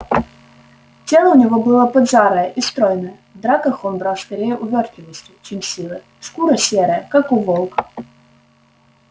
тело у него было поджарое и стройное в драках он брал скорее увёртливостью чем силой шкура серая как у волка